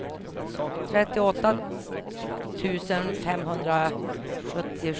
trettioåtta tusen femhundrasjuttiosju